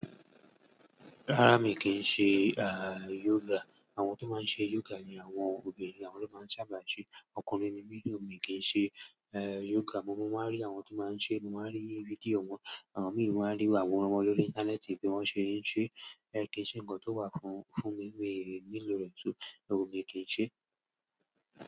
Rárá mi kì í ṣe yoga. Àwọn tó máa ń ṣe yoga ni àwọn obìnrin, àwọn ló máa ń sábà ṣe. Ọkùnrin ni mí ni mi kì í ṣe, yoga. Mo máa ń rí àwọn tó máa ń ṣe, mo máa ń rí fídíò wọ́n, àwọn mìíràn rí wọ́n mọ́ lọ lórí íńtánẹ́ẹ̀tì bí wọ́n ṣe ń ṣe. Rárá kì í ṣe nǹkan tó wà fún, fún mi, mi ò lè rẹ̀ ẹ́ tún, òun mi kì í ṣe.